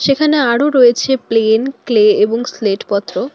এখানে আরো রয়েছে প্লেন ক্লে এবং স্লেটপত্র।